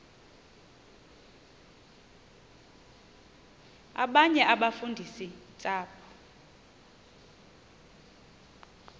abanye abafundisi ntshapo